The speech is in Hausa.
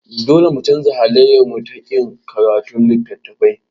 Dole mu canza halayyarmu ta ƙin karatun littattafai.